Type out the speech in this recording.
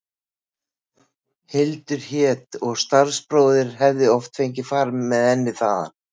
Hildur hét og starfsbróðir hefði oft fengið far með henni þaðan.